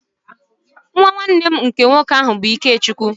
Nnwa nnwanne m nke nwoke bụ Ikechukwu.